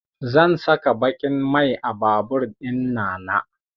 Zan saka baƙin mai a babur ɗinnana